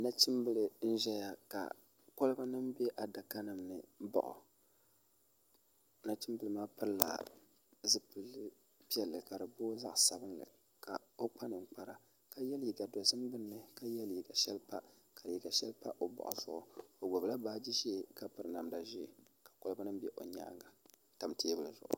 Nachimbila n-ʒiya ka kɔlibanima be adakanima ni m-baɣa nachimbila maa pilila zupil’piɛlli ka di booi zaɣ’sabinli ka o kpa ninkpara ka ye leega dɔzim gbunni ka ye leega shɛli pa ka leega shɛli pa o baɣa zuɣu o gbubila baaji ʒee ka piri namda ʒee ka kɔlibanima be o nyaaŋa n-tam teebuli zuɣu